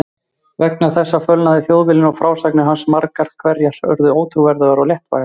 Vegna þessa fölnaði Þjóðviljinn og frásagnir hans margar hverjar urðu ótrúverðugar og léttvægar.